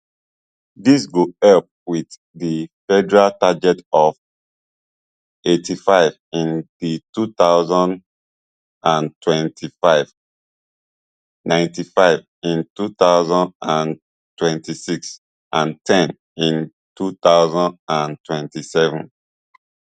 dis go help wit di federal targets of eighty-five in d two thousand and twenty-five ninety-five in two thousand and twenty-six and ten in two thousand and twenty-seven